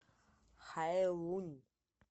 хайлунь